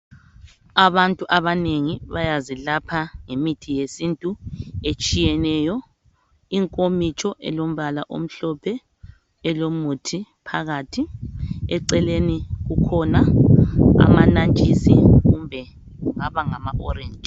Abantu abanengi bayazilapha ngemithi yesintu etshiyeneyo inkomitsho elombala omhlophe elomuthi phakathi eceleni kukhona amanantshisi kumbe kungaba ngama orange.